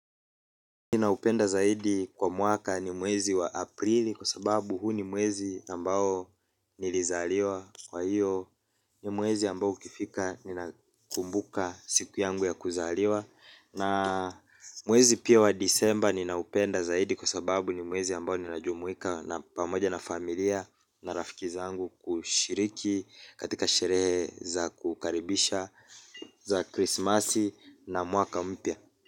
Ninaupenda zaidi kwa mwaka ni mwezi wa aprili kwa sababu huu ni mwezi ambao nilizaliwa. Kwa hiyo ni mwezi ambao ukifika ninakumbuka siku yangu ya kuzaliwa. Na mwezi pia wa disemba ninaupenda zaidi kwa sababu ni mwezi ambao ninajumuika na pamoja na familia na rafiki zangu kushiriki katika sherehe za kukaribisha za krismasi na mwaka mpya.